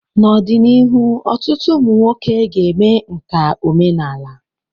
N'ọdịnihu, ọtụtụ ụmụ nwoke ga-eme nka omenala.